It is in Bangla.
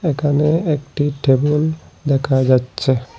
এখানে একটি টেবল দেখা যাচ্ছে।